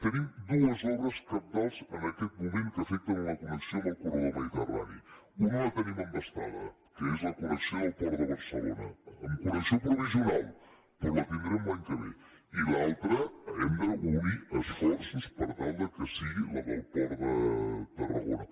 tenim dues obres cabdals en aquest moment que afecten la connexió amb el corredor mediterrani una la tenim embastada que és la connexió del port de barcelona en connexió provisional però la tindrem l’any que ve i l’altra hem d’unir esforços per tal que sigui la del port de tarragona